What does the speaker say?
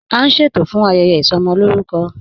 A n ṣẹtò fún ayẹyẹ isọmọlórùkọ.